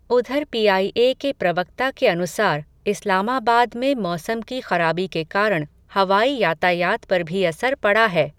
उधर पीआईए के प्रवक्ता के अनुसार, इस्लामाबाद में मौसम की ख़राबी के कारण, हवाई यातायात पर भी असर पड़ा है.